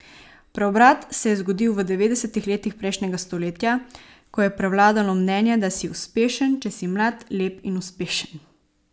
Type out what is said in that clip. Preobrat se je zgodil v devetdesetih letih prejšnjega stoletja, ko je prevladalo mnenje, da si uspešen, če si mlad, lep in uspešen.